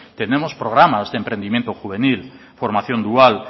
tenemos programas de emprendimiento juvenil formación dual